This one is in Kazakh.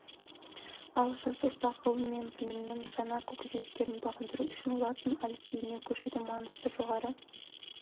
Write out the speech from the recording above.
ал жас ұрпақ ғылым мен білімнің жаңа көкжиектерін бағындыру үшін латын әліпбиіне көшудің маңызы жоғары